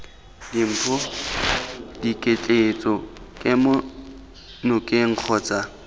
dimpho diketleetso kemo nokeng kgotsa